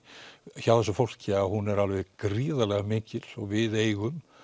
hjá þessu fólki að hún er gríðarlega mikil og við eigum